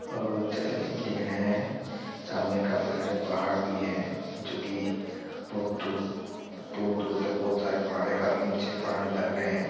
अ जैसे कि आप देख रहे हैं सामने काफ़ी सारे पहाड़ भी हैं जोकि बहुत दूर-दूर तक बहुत सारे पहाड़ हैं काफ़ी ऊँचे पहाड़ लग रहे हैं।